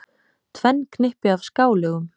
Tvenn knippi af skálögum.